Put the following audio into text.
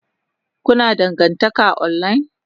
Kuna dangantaka online?